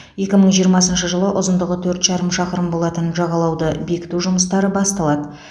екі мың жиырмасыншы жылы ұзындығы төрт жарым шақырым болатын жағалауды бекіту жұмыстары басталады